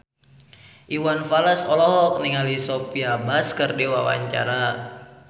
Iwan Fals olohok ningali Sophia Bush keur diwawancara